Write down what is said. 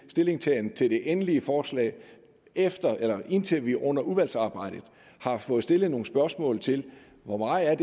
stillingtagen til det endelige forslag indtil vi under udvalgsarbejdet har fået stillet nogle spørgsmål til hvor meget